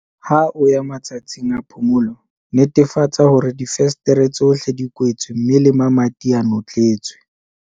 Ha o ya matsatsing a phomolo, netefatsa hore difenstere tsohle di kwetswe mme le mamati a notletswe.